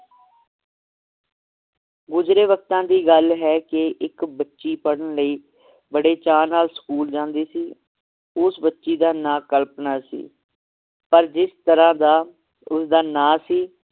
ਗੁਜ਼ਰੇ ਵਕਤਾਂ ਦੀ ਗੱਲ ਹੈ ਕਿ ਇੱਕ ਬੱਚੀ ਪੜ੍ਹਨ ਲਈ ਬੜੇ ਚਾਅ ਨਾਲ ਸਕੂਲ ਜਾਂਦੀ ਸੀ ਉਸ ਬੱਚੀ ਦਾ ਨਾਂ ਕਲਪਨਾ ਸੀ ਪਰ ਜਿਸ ਤਰਾਹ ਦਾ ਉਸ ਦਾ ਨਾਂ ਸੀ